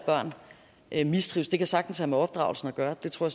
at børn mistrives det kan sagtens have med opdragelsen af gøre det tror